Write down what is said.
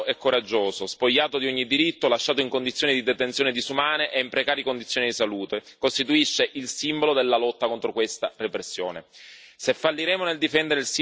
Nabeel Rajab, un uomo libero e coraggioso, spogliato di ogni diritto, lasciato in condizioni di detenzione disumane e in precarie condizioni di salute, costituisce il simbolo della lotta contro questa repressione.